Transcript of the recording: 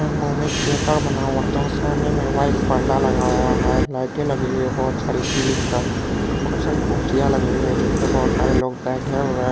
में थिएटर बना हुआ है जहाँ सामने में वाइट पर्दा लगा हुआ है लाइटें लगी हुई है बहुत सारी सीलिंग पे बहुत सारी कुर्सियां लगी हुई है जिन पर बहुत सारे लोग बैठे हुए हैं ।